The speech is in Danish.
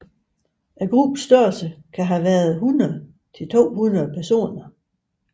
Gruppens størrelse kan have været 100 til 200 personer